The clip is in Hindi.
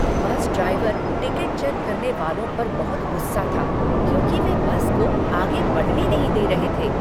बस ड्राइवर टिकट चेक करने वालों पर बहुत गुस्सा था क्योंकि वे बस को आगे बढ़ने नहीं दे रहे थे।